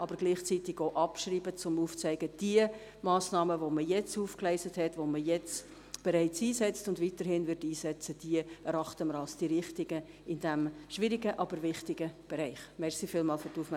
Gleichzeitig wollen wir sie aber abschreiben, um aufzuzeigen, dass diese Massnahmen, die wir jetzt aufgegleist haben, die wir jetzt bereits einsetzen und weiterhin einsetzen werden, die Richtigen in diesem schwierigen, aber wichtigen Bereich sind.